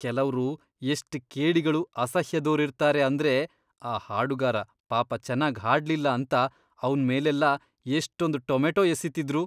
ಕೆಲವ್ರು ಎಷ್ಟ್ ಕೇಡಿಗಳು, ಅಸಹ್ಯದೋರಿರ್ತಾರೆ ಅಂದ್ರೆ ಆ ಹಾಡುಗಾರ ಪಾಪ ಚೆನ್ನಾಗ್ ಹಾಡ್ಲಿಲ್ಲ ಅಂತ ಅವ್ನ್ ಮೇಲೆಲ್ಲ ಎಷ್ಟೊಂದ್ ಟೊಮೆಟೊ ಎಸೀತಿದ್ರು.